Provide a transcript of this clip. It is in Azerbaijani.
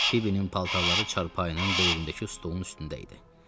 Fibinin paltarları çarpayıyla böyründəki stolun üstündə idi.